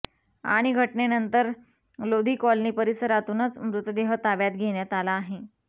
आणि घटनेनंतर लोधी कॉलनी परिसरातूनच मृतदेह ताब्यात घेण्यात आला आहे